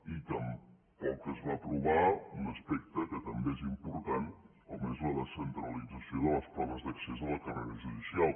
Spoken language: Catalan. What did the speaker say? i tampoc es va aprovar un aspecte que també és important com és la descentralització de les proves d’accés a la carrera judicial